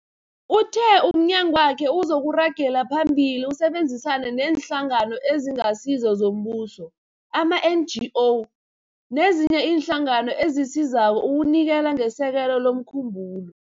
Uthe umnyagwakhe uzoragela phambili usebenzisane neeNhlangano eziNgasizo zoMbuso, ama-NGO, nezinye iinhlangano ezisizako ukunikela ngesekelo lomkhumbulo.